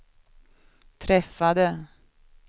träffade